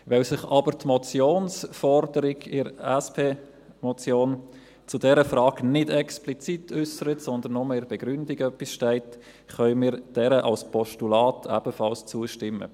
Weil sich aber die Motionsforderung in der SP-Motion zu dieser Frage nicht explizit äussert, sondern nur in der Begründung etwas steht, können wir dieser als Postulat ebenfalls zustimmen.